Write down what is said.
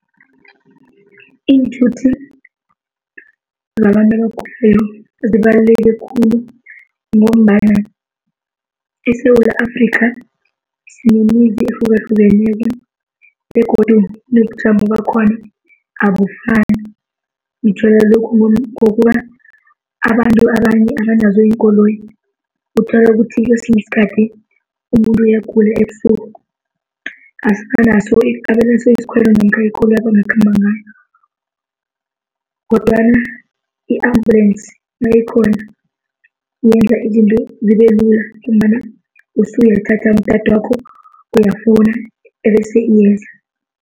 Iinthuthi zabantu abagulako zibaluleke khulu ngombana eSewula Afrikha sinemizi ehlukahlukeneko begodu nobujamo bakhona abufani. Ngitjhwela lokhu ngokobana abantu abanye abanazo iinkoloyi, uthole ukuthi kwesinye isikhathi umuntu uyagula ebusuku, abanaso isikhwelo namkha ikoloyi abangakhamba ngayo. Kodwana i-ambulance nayikhona yenza izinto zibe lula ngombana usuyathatha umtatwakho uyafona bese iyenze.